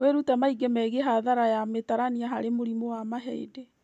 Wĩrute maingĩ megiĩ hathara ya matarania harĩ mũrimũ wa mahĩndĩ